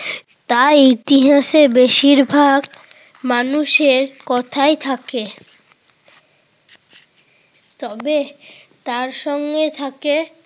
তাই ইতিহাসে বেশিরভাগ মানুষের কথাই থাকে। তবে তার সঙ্গে থাকে